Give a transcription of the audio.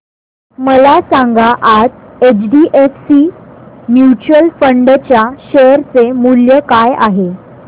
मला सांगा आज एचडीएफसी म्यूचुअल फंड च्या शेअर चे मूल्य काय आहे